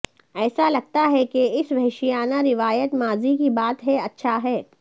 ایسا لگتا ہے کہ اس وحشیانہ روایت ماضی کی بات ہے اچھا ہے